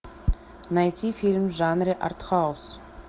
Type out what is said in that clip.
найти фильм в жанре артхаус